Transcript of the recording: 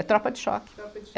É tropa de choque. Tropa de cho. É.